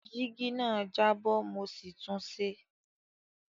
Jígí náà jábọ́ mo sì tunṣe